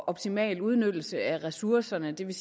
optimal udnyttelse af ressourcerne det vil